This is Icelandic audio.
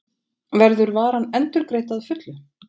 Verður varan endurgreidd að fullu